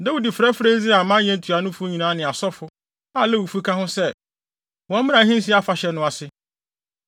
Dawid frɛfrɛɛ Israel amanyɛ ntuanofo nyinaa ne asɔfo, a Lewifo ka ho sɛ, wɔmmra ahensi afahyɛ no ase.